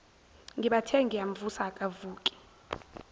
ngibathe ngiyamvusa akavuki